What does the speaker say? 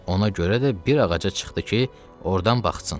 Ona görə də bir ağaca çıxdı ki, ordan baxsın.